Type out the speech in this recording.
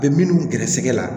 U bɛ minnu gɛrɛsɛgɛ la